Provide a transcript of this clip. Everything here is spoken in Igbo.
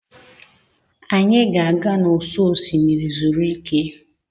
Anyị ga-aga n'ụsọ osimiri zuru ike.